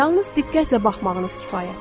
Yalnız diqqətlə baxmağınız kifayətdir.